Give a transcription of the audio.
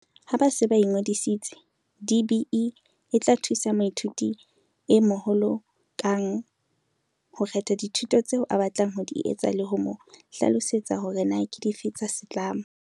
Ha ba se ba ingodisitse, DBE e tla thusa moithuti e moholo kang ho kgetha dithuto tseo a batlang ho di etsa le ho mo hlalosetsa hore na ke dife tsa setlamo.